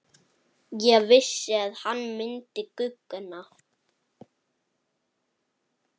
Ég vissi hann myndi guggna!